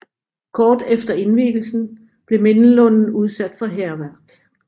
Kort efter indvielsen blev mindelunden udsat for hærværk